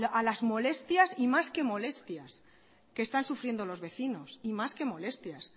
a las molestias y más que molestias que están sufriendo los vecinos y más que molestias